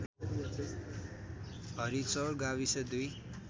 हरिचौर गाविस २